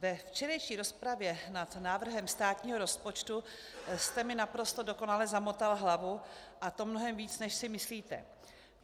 Ve včerejší rozpravě nad návrhem státního rozpočtu jste mi naprosto dokonale zamotal hlavu, a to mnohem víc, než si myslíte.